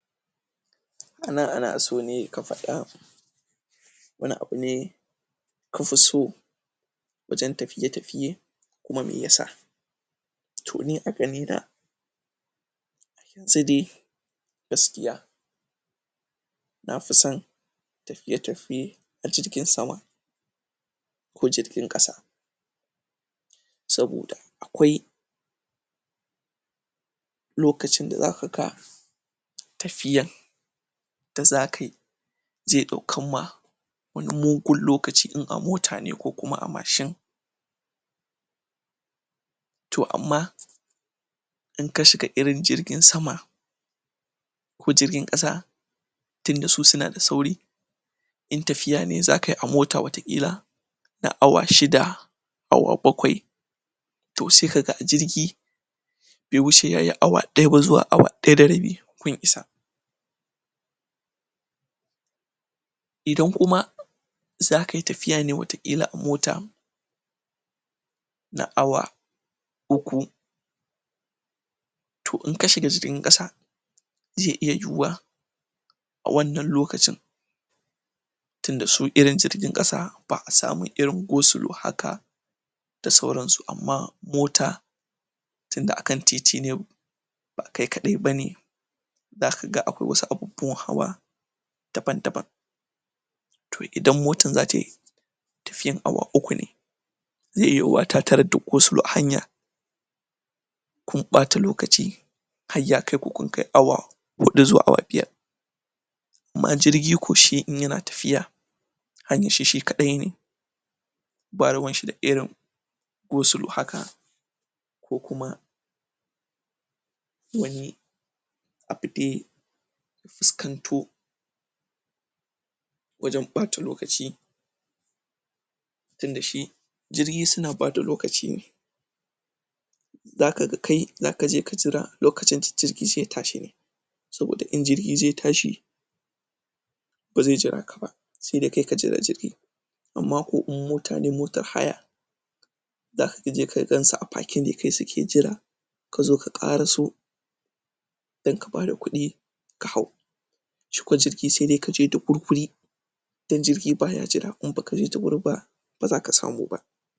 Nan anaso ne, kafada wani abune kafiso wajen tafiye tafiye kuma me yasa to ni aga nina sedai gaskiya nafison tafiye tafiye a jirgin sama ko jirgin ƙasa saboda akwai lokacin da zakaga tafiyan da zakayi ze ɗaukanma wani mugun lokaci in a mmotane ko kuma a mashin to amma in kashiga irin jirgin sama ko jirgin ƙasa tinda su sunada sauri in tafiyane zakayi a mota wata ƙila na awa shida awa bakwai to se kaga a jirgi be wuce yayi awa ɗaya ba zuwa awa ɗaya da rabi kun isa idan kuma zakayi tafiya ne wata ƙila a mota na awa uku to in kashiga jirgin ƙasa ze iya yuwuwa a wannan lokacin tinda su irn jirgin ƙasa ba a samun irin go sulow haka da sauransu amma mota tinda akan titine bakai kaɗai bane zakaga akwai wasu abubuwan hawa daban daban to idan motan zatayi tafiyan awa uku ne ze iya yuwuwa ta tarar da go sulow a hanya kun ɓata lokaci hai yakaiku kun kai awa huɗu zuwa awa biyar amma jirgi ko shi in yana tafiya anyishi shi kaɗai ne ba ruwanshi da irin go sulo haka ko kuma wani abu dai fuskanto wajan ɓata lokaci tinda shi jirgi suna bada lokaci ne zakaga kai zakaje kajira lokacin da jirgi ze tashine saboda in jirgi ze tashi ba ze jiraka ba se dai kai kaijira jirgi amma ko in motane motar haya zakaje ka gansu a fake ne kai suke jira kazo ka ƙara so dan kabada kuɗi ka haw shiko jirgi sedai kaje da wurwuri dan jirgi baya jira in bakje da wuri ba bazaka samuba